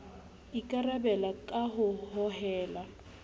e ikarabela ka ho hohela